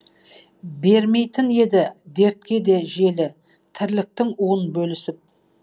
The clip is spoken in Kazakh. бермейтін еді дертке де желі тірліктің уын бөлісіп